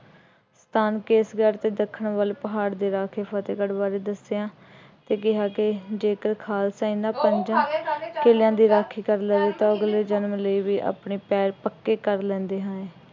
ਤਾਨ ਕੇਸ਼ਗੜ੍ਹ ਅਤੇ ਦੱਖਣ ਵੱਲ ਪਹਾੜ ਦੇ ਰਾਹ ਤੇ ਫਤਿਹਗੜ੍ਹ ਵੱਲ ਦੱਸਿਆ ਅਤੇ ਕਿਹਾ ਕਿ ਜੇਕਰ ਖਾਲਸਾ ਇਹਨਾ ਪੰਜਾਂ ਕਿਲਿਆਂ ਦੀ ਰਾਖੀ ਕਰ ਲਏ ਤਾ ਅਗਲੇ ਜਨਮ ਲਈ ਵੀ ਆਪਣੇ ਪੈਰ ਪੱਕੇ ਕਰ ਲੈਂਦੇ ਹਨ।